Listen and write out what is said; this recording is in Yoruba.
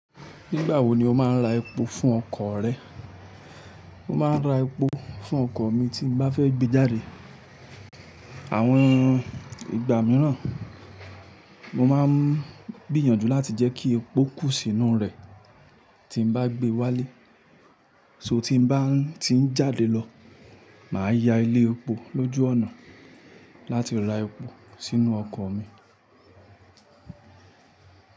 Nígbà wo ni o máa ń ra epo fún ọkọ̀ rẹ? Mo máa ń ra epo fún ọkọ̀ mi tí n bá fẹ́ gbé e jáde. Àwọn ìgbà míràn, mo máa ń gbíyànjú láti jẹ́ kí epo kú sínú rẹ̀ tí n bá gbé wálé. So tí n bá ti ń jáde lọ, mà á ya ilé epo lójú ọ̀nà láti ra epo sínú ọkọ̀ mi.